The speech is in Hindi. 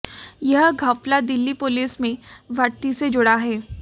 यह घपला दिल्ली पुलिस में भर्ती से जुड़ा है